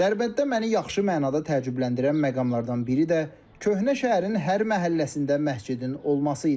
Dərbənddə məni yaxşı mənada təəccübləndirən məqamlardan biri də köhnə şəhərin hər məhəlləsində məscidin olması idi.